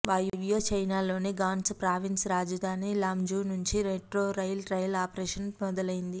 వాయవ్య చైనాలోని Gansu province రాజధాని Lanzhou నుంచీ మెట్రో రైలు ట్రయల్ ఆపరేషన్ మొదలైంది